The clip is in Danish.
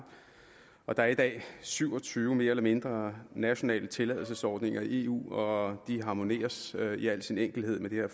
der er i dag syv og tyve mere eller mindre nationale tilladelsesordninger i eu og de harmoneres i al sin enkelhed med det her